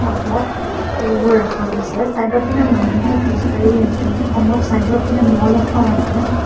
ফুলবোৰ ৰাখা গৈছে ছাইডৰপিনে মানুহে খোজ কাঢ়ি আছে সম্ভৱ ছাইডৰপিনে মল এখন আছে।